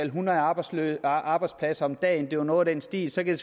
hundrede arbejdspladser arbejdspladser om dagen det var noget i den stil så kan